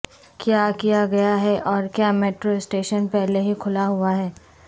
کیا کیا گیا ہے اور کیا میٹرو سٹیشن پہلے ہی کھلا ہوا ہے